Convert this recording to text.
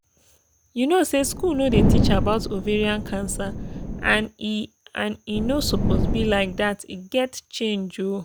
you know say school no dey teach about ovarian cancer and e and e no suppose be like that e gat change ooo